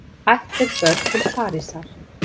Ættleidd börn til Parísar